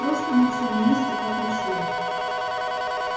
просто мы все вместе так решили